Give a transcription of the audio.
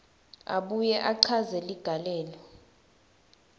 abuye achaze ligalelo